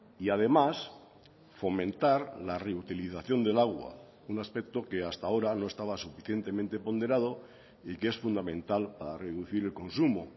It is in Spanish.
y además fomentar la reutilización del agua un aspecto que hasta ahora no estaba suficientemente ponderado y que es fundamental para reducir el consumo